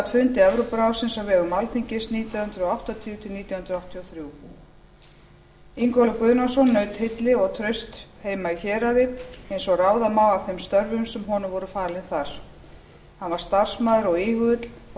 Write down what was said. fundi evrópuráðsins á vegum alþingis nítján hundruð áttatíu til nítján hundruð áttatíu og þrjú ingólfur guðnason naut hylli og trausts heima í héraði eins og ráða má af þeim störfum sem honum voru falin þar hann var starfsamur og íhugull og lagði